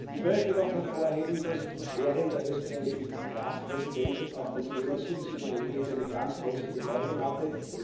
Ich möchte noch hervorheben, dass während der österreichischen Ratspräsidentschaft auch das Thema Subsidiarität eine ganz große Bedeutung hatte.